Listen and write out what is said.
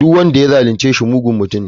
Duk wanda ya zalunce shi mugun mutum ne.